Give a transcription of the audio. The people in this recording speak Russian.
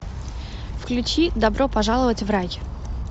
включи добро пожаловать в рай